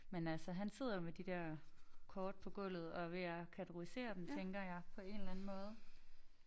Men altså han sidder jo med de der kort på gulvet og er ved at kategorisere dem tænker jeg på en eller anden måde